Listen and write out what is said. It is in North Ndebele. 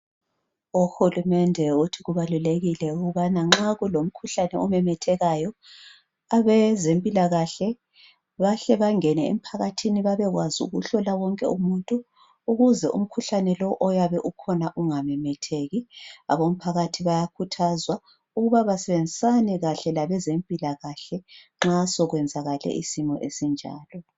uhulumende uthi kubalulekile ukubana nxa kulomkhuhlane omemethekayo abezempilakahle bahle bangene emphakathini babekwazi ukuhlola wonke umuntu ukuze umkhuhlane lo oyabe ukhona ungamemetheki abomphakathi bayakhuthazwa ukuba basebenzisane kahle labezempilakhle nxa sekwenzakale isimo esinjalo